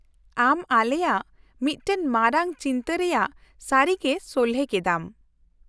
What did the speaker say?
-ᱟᱢ ᱟᱞᱮᱭᱟᱜ ᱢᱤᱫᱴᱟᱝ ᱢᱟᱨᱟᱝ ᱪᱤᱱᱛᱟᱹ ᱨᱮᱭᱟᱜ ᱥᱟᱹᱨᱤᱜᱮ ᱥᱚᱞᱦᱮ ᱠᱮᱫᱟᱢ ᱾